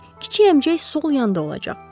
Kiçik əmcək sol yanda olacaq.